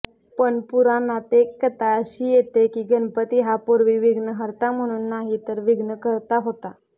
पण पुराणात एक कथा अशी येते कि गणपती हा पूर्वी विघ्नहर्ता म्हणून नाही विघ्नकर्ता होता